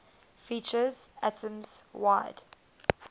features atoms wide